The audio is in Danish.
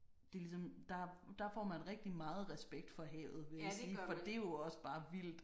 Det er ligesom der der får man rigtig meget respekt for havet vil jeg sige for det er jo også bare vildt